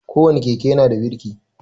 Ko wane keke ya na da birki